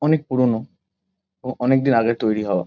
অনেক পুরোনো ও অনেক দিন আগের তৈরী হওয়া।